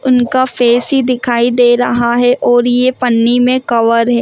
उनका फेस ही दिखाई दे रहा है और ये पन्नी में कवर है।